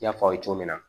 I y'a fɔ aw ye cogo min na